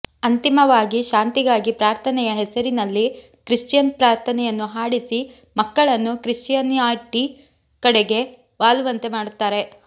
ಅಂತಿಮವಾಗಿ ಶಾಂತಿಗಾಗಿ ಪ್ರಾರ್ಥನೆಯ ಹೆಸರಿನಲ್ಲಿ ಕ್ರಿಶ್ಚಿಯನ್ ಪ್ರಾರ್ಥನೆಯನ್ನು ಹಾಡಿಸಿ ಮಕ್ಕಳನ್ನು ಕ್ರಿಶ್ಚಿಯಾನಿಟಿ ಕಡೆಗೆ ವಾಲುವಂತೆ ಮಾಡುತ್ತಾರೆ